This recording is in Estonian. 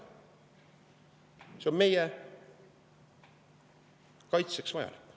See on meie kaitseks vajalik.